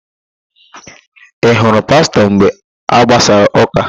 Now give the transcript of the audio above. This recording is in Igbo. Ị hụrụ Pastọ mgbe a gbasara ụ́kà?